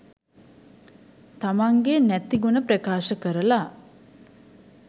තමන්ගෙ නැති ගුණ ප්‍රකාශ කරලා